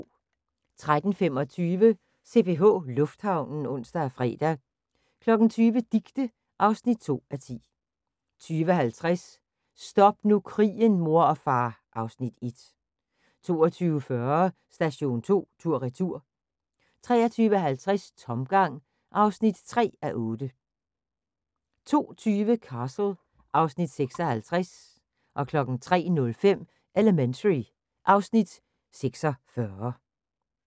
13:25: CPH Lufthavnen (ons-fre) 20:00: Dicte (2:10) 20:50: Stop nu krigen, mor og far (Afs. 1) 22:40: Station 2 tur/retur 23:50: Tomgang (3:8) 02:20: Castle (Afs. 56) 03:05: Elementary (Afs. 46)